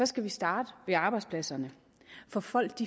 skal vi starte ved arbejdspladserne for folk